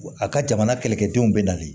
A ka jamana kɛlɛkɛdenw bɛ nali